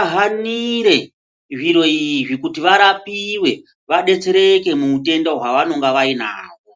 ahanire zviro izvi kuti varapiwe vadetsereke muwutenda hwavanonge vainaho.